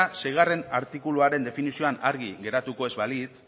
seigarrena artikuluaren definizioan argi geratuko ez balitz